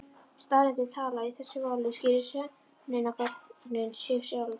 Staðreyndir tala og í þessu máli skýrðu sönnunargögnin sig sjálf.